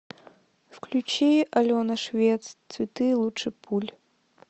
включи алена швец цветы лучше пуль